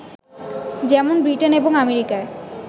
যেমন ব্রিটেন এবং আমেরিকায়